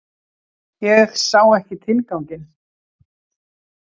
Ég sá ekki tilganginn.